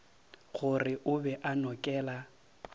gore o be a nokela